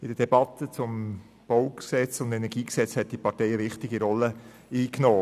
In der Debatte zum Baugesetz vom 9. Juni 1985 (BauG) und zum KEnG hat diese Partei eine wichtige Rolle eingenommen.